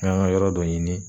N k'an ka yɔrɔ dɔ ɲini.